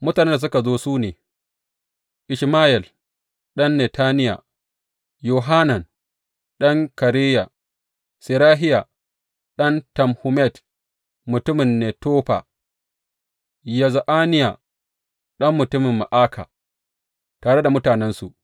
Mutanen da suka zo su ne, Ishmayel ɗan Netaniya, Yohanan ɗan Kareya, Serahiya ɗan Tanhumet mutumin Netofa, Ya’azaniya ɗan mutumin Ma’aka, tare da mutanensu.